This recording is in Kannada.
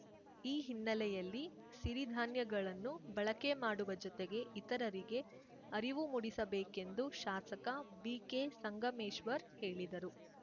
ಈ ಹಿನ್ನೆಲೆಯಲ್ಲಿ ಸಿರಿಧಾನ್ಯಗಳನ್ನು ಬಳಕೆ ಮಾಡುವ ಜೊತೆಗೆ ಇತರರಿಗೆ ಅರಿವು ಮೂಡಿಸಬೇಕೆಂದು ಶಾಸಕ ಬಿಕೆ ಸಂಗಮೇಶ್ವರ್‌ ಹೇಳಿದರು